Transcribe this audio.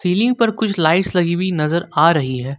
Ceiling पर कुछ lights लगी हुई नजर आ रही है।